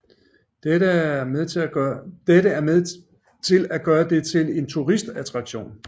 Dette er med til at gøre det til en turistattraktion